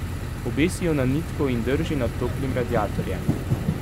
Obesi jo na nitko in drži nad toplim radiatorjem.